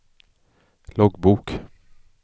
loggbok